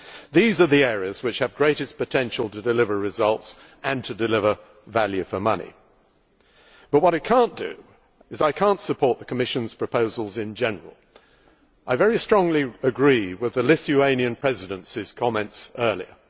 These are the areas which have greatest potential to deliver results and to deliver value for money. But what I cannot do is support the Commission's proposals in general. I very strongly agree with the Lithuanian Presidency's comments earlier.